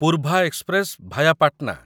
Poorva express via Patna